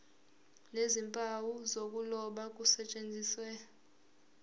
nezimpawu zokuloba kusetshenziswe